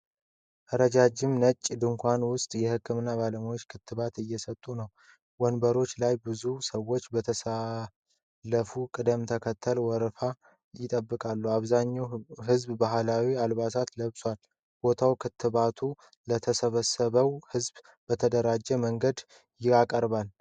ረጃጅም ነጭ ድንኳን ውስጥ የህክምና ባለሙያዎች ክትባት እየሰጡ ነው። ወንበሮች ላይ ብዙ ሰዎች በተሰለፈ ቅደም ተከተል ወረፋ ይጠብቃሉ። አብዛኛው ህዝብ ባህላዊ አልባሳት ለብሷል። ቦታው ክትባቱን ለተሰበሰበው ሕዝብ በተደራጀ መንገድ ያቀርባል።